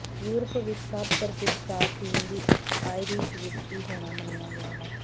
Europe ਵਿਚ ਸਭ ਪ੍ਰਸਿੱਧ ਸ਼ਰਾਬ ਪੀਣ ਦੀ ਇੱਕ ਇੱਕ ਆਇਰਿਸ਼ ਵਿਸਕੀ ਹੋਣਾ ਮੰਨਿਆ ਗਿਆ ਹੈ